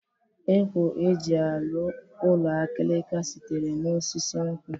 Ekwo e ji arụ ụlọ akịrịka sitere n'osisi nkwọ